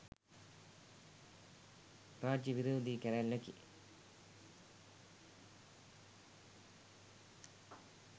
රාජ්‍ය විරෝධී කැරැල්ලකි